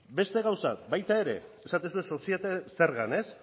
beste gauza bat baita ere esaten duzue sozietate zergan ba